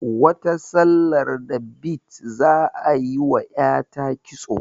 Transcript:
Wata sallar da bid za ayi wa ƴata kitso